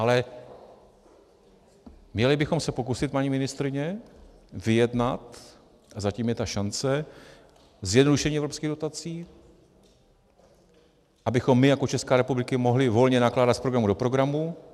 Ale měli bychom se pokusit, paní ministryně, vyjednat, a zatím je ta šance, zjednodušení evropských dotací, abychom my jako Česká republika mohli volně nakládat z programu do programu.